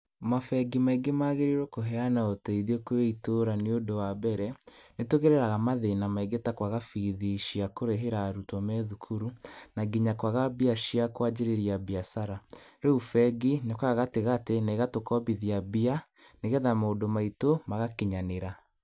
Mabengi maingĩ magĩrĩirwo kũheana ũteithio kwĩ itũra nĩũndũ wa mbere, nĩtũgeraraga mathĩna maingi ta kwaga bithi cia kũrĩhĩra arutwo me thukuru, na nginya kwaga mbia cia kwanjĩrĩria mbiacara, rĩu bengi nĩyũkaga gatagatĩ na ĩgatũkombithia mbia, nĩgetha maũndũ maitũ magakinyanĩra.